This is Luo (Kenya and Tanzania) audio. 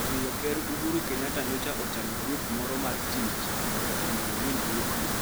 omiyo Ker Uhuru Kenyatta nyocha ochano grup moro mar tich mondo onon winjruokgo.